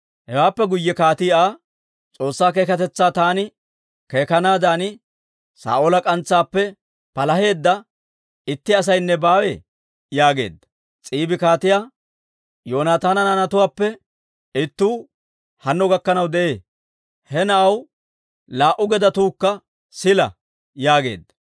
Hewaappe guyye kaatii Aa, «S'oossaa keekatetsaa taani keekanaadan, Saa'oola k'antsaappe palaheedda itti asaynne baawee?» yaageedda. S'iibi kaatiyaa, «Yoonataana naanatuwaappe ittuu hanno gakkanaw de'ee; he na'aw laa"u gedetuukka sila» yaageedda.